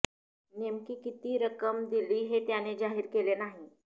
नेमकी किती रक्कम दिली हे त्याने जाहीर केले नाही